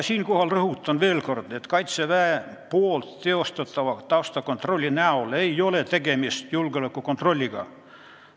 Siinkohal rõhutan veel kord, et Kaitseväe teostatava taustakontrolli näol ei ole tegemist julgeolekukontrolliga.